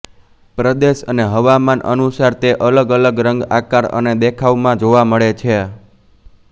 પ્રદેશ અને હવામાન અનુસાર તે અલગ અલગ રંગ આકાર અને દેખાવમાં જોવા મળે છે